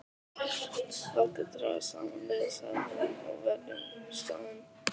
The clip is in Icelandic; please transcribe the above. Láttu draga saman lið, sagði hún,-og verjum staðinn.